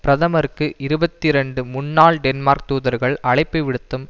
பிரதமருக்கு இருபத்தி இரண்டு முன்னாள் டென்மார்க் தூதர்கள் அழைப்பை விடுத்தும்